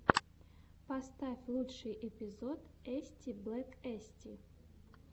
поставь лучший эпизод эстиблэкэсти